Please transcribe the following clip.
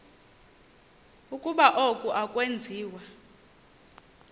ukuba oku akwenziwa